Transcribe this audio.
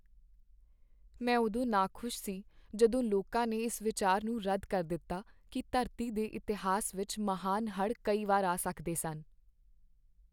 ਮੈਂ ਉਦੋਂ ਨਾਖੁਸ਼ ਸੀ ਜਦੋਂ ਲੋਕਾਂ ਨੇ ਇਸ ਵਿਚਾਰ ਨੂੰ ਰੱਦ ਕਰ ਦਿੱਤਾ ਕਿ ਧਰਤੀ ਦੇ ਇਤਿਹਾਸ ਵਿੱਚ ਮਹਾਨ ਹੜ੍ਹ ਕਈ ਵਾਰ ਆ ਸਕਦੇ ਸਨ।